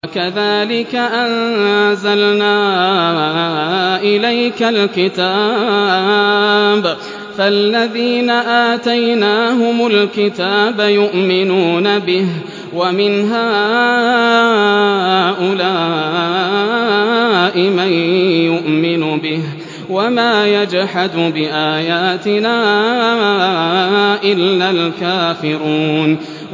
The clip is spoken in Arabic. وَكَذَٰلِكَ أَنزَلْنَا إِلَيْكَ الْكِتَابَ ۚ فَالَّذِينَ آتَيْنَاهُمُ الْكِتَابَ يُؤْمِنُونَ بِهِ ۖ وَمِنْ هَٰؤُلَاءِ مَن يُؤْمِنُ بِهِ ۚ وَمَا يَجْحَدُ بِآيَاتِنَا إِلَّا الْكَافِرُونَ